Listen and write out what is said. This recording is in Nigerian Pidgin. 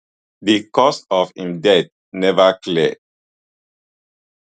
di cause of im death neva clear